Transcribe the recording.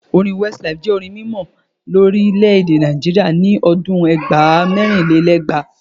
Orin Westlife jẹ́ orin mímọ lórílèè Nàìjíríà ni ọdún ẹgbàá - mẹ́rinlélẹ́gbàá.